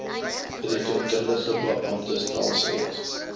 rekeningkundige beamptestelsel aos